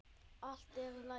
Allt er í lagi.